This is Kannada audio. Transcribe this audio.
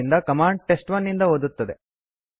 ಆದ್ದರಿಂದ ಕಮಾಂಡ್ test1ನಿಂದ ಓದುತ್ತದೆ